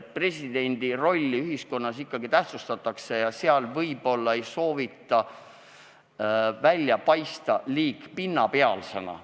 Presidendi rolli ühiskonnas ikkagi tähtsustatakse ja temaga suheldes ei soovita paista liiga pinnapealsena.